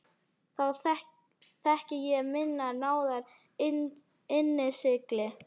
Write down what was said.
Þá þekki ég minnar náðar innsigli.